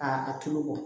Aa a tulo kɔ